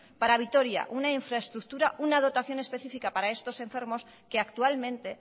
para vitoria una infraestructura una dotación específica para estos enfermos que actualmente